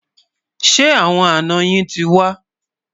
Ṣé àwọn àná yín tí wà?